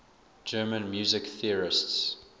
german music theorists